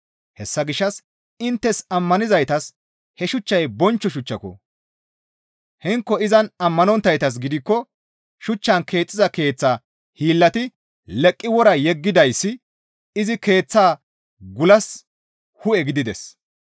Hessa gishshas inttes ammanizaytas he shuchchay bonchcho shuchchiko; hinko izan ammanonttaytas gidikko, «Shuchchan keexxiza keeththa hiillati leqqi wora yeggidayssi izi keeththa gulas hu7e gidides»